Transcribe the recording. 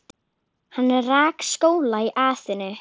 Hann rak skóla í Aþenu.